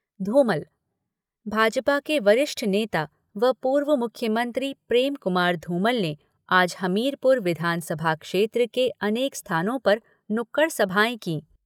भाजपा के वरिष्ठ नेता व पूर्व मुख्यमंत्री प्रेम कुमार धूमल ने आज हमीरपुर विधानसभा क्षेत्र के अनेक स्थानों पर नुक्कड़ सभाएं कीं।